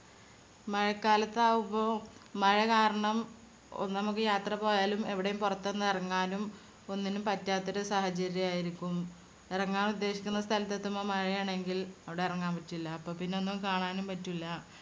മഴക്കാലത്താവുമ്പോ മഴ കാരണം ഒന്നും നമ്മുക്ക് യാത്ര പോയാലും എവിടേം പൊറത്തൊന്നും എറങ്ങാനും ഒന്നിനും പറ്റാത്തൊരു സാഹചര്യം ആയിരിക്കും. എറങ്ങാൻ ഉദ്ദേശിക്കുന്ന സ്ഥലത്തേതുമ്പം മഴയാണെങ്കിൽ അവിടെ എറങ്ങാൻ പറ്റൂല്ല അപ്പൊപ്പിന്നെ ഒന്നും കാണാനും പറ്റൂല്ല.